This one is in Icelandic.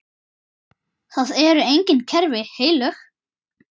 Það eru engin kerfi heilög.